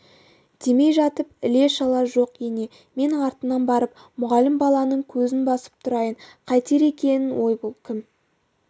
демей жатып іле-шала жоқ ене мен артынан барып мұғалім баланың көзін басып тұрайын қайтер екен ой бұл кім